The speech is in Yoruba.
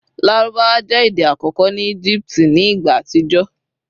Larubawa jẹ ede akọkọ ni Egipti ni igba atijọ